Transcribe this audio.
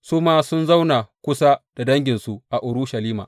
Su ma sun zauna kusa da danginsu a Urushalima.